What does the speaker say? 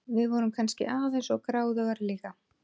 Við vorum kannski of gráðugar líka.